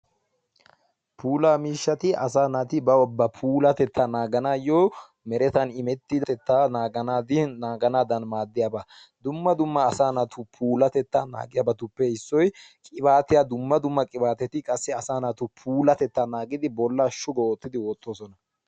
puula mishshati assa naati bantta puulla naaganaw maadosona ettika assa naatussi galba loxigisiyogani puulatana mala maadossona.